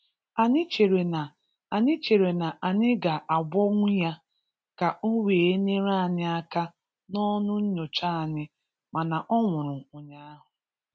Ànyị̀ chèrè na Ànyị̀ chèrè na ànyị̀ ga-agwọ̀nwù yà kà ọ̀ wee nyerè ànyị̀ akà n’ọ̀nù nǹyochà anyị, mà̀nà ọ̀ nwùrù ụ̀nyaahụ̀